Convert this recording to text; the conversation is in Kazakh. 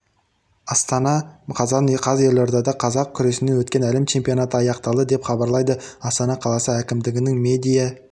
астана қазан қаз елордада қазақ күресінен өткен әлем чемпионаты аяқталды деп хабарлайды астана қаласы әкімдігінің медиа